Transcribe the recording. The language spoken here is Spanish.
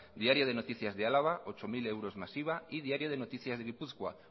diario de noticias de álava ocho mil euros más iva y diario de noticias de gipuzkoa